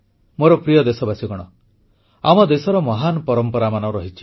ମୋର ପ୍ରିୟ ଦେଶବାସୀଗଣ ଆମ ଦେଶର ମହାନ ପରମ୍ପରାମାନ ରହିଛି